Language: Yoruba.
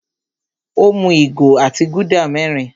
Ó mú ìgò otí Gúdà mẹ́rin.